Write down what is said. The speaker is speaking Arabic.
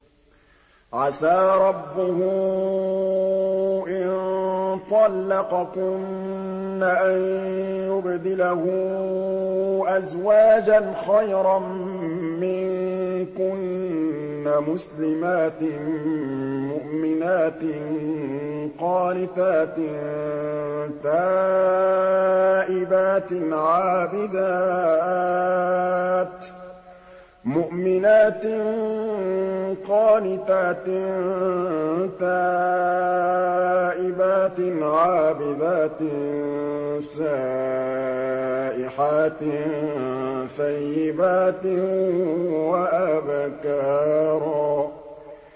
عَسَىٰ رَبُّهُ إِن طَلَّقَكُنَّ أَن يُبْدِلَهُ أَزْوَاجًا خَيْرًا مِّنكُنَّ مُسْلِمَاتٍ مُّؤْمِنَاتٍ قَانِتَاتٍ تَائِبَاتٍ عَابِدَاتٍ سَائِحَاتٍ ثَيِّبَاتٍ وَأَبْكَارًا